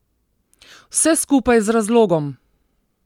Vse skupaj z razlogom!